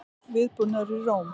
Viðbúnaður í Róm